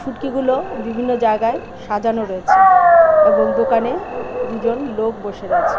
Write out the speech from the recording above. ফুটকিগুলো বিভিন্ন জায়গায় সাজানো রয়েছে এবং দোকানে দুজন লোক বসে রয়েছে.